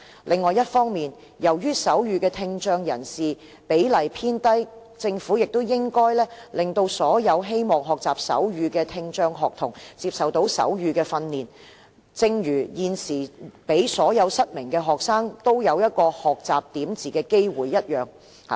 另一方面，由於懂手語的聽障人士比例偏低，政府也應該讓所有希望學習手語的聽障學童接受手語訓練，正如現時所有失明學生都享有學習點字的機會一樣。